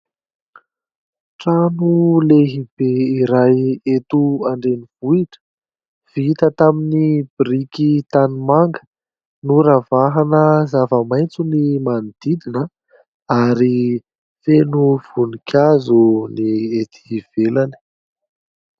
Trano lehibe iray eto an-drenivohitra vita tamin'ny biriky tanimanga, noravahana zava-maitso ny manodidina ary feno voninkazo ny etỳ ivelany.